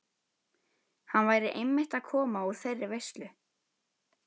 Hann væri einmitt að koma úr þeirri veislu.